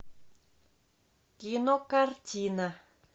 кинокартина